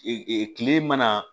Ee ee kile mana